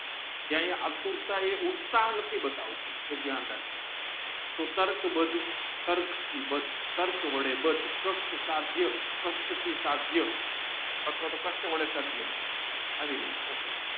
ત્યાં એ આતુર તા એ નથી બતાવતું એ દયાન રાખજો તો તારખબધ તારીખ થી બધી ટ્રેક વડે બાંધી કાષ્ઠ થી સાધ્ય અથવા તોહ કાષ્ઠ વડે સાધ્ય આવી રીતે થશે